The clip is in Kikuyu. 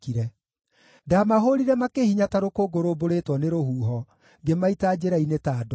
Ndaamahũũrire makĩhinya ta rũkũngũ rũmbũrĩtwo nĩ rũhuho; ngĩmaita njĩra-inĩ ta ndooro.